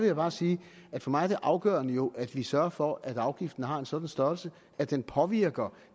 jeg bare sige at for mig er det afgørende jo at vi sørger for at afgiften har en sådan størrelse at den påvirker